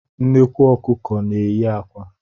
Nnekwu Ọkụkọ na-eyi akwa